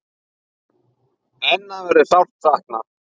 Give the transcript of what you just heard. Hennar verður sárt saknað.